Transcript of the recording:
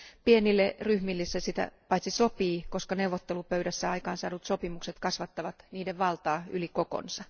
Pienille ryhmille se sitä paitsi sopii, koska neuvottelupöydässä aikaansaadut sopimukset kasvattavat niiden valtaa yli niiden koon.